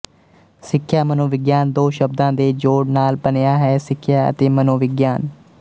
ਸਿੱਖਿਆ ਮਨੋਵਿਗਿਆਨ ਦੋ ਸ਼ਬਦਾਂ ਦੇ ਜੋੜ ਨਾਲ ਬਣਿਆ ਹੈ ਸਿੱਖਿਆ ਅਤੇ ਮਨੋਵਿਗਿਆਨ